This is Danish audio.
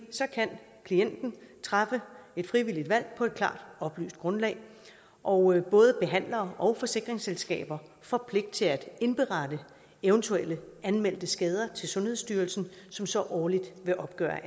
så kan klienten træffe et frivilligt valg på et klart oplyst grundlag og både behandlere og forsikringsselskaber får pligt til at indberette eventuelle anmeldte skader til sundhedsstyrelsen som så årligt vil opgøre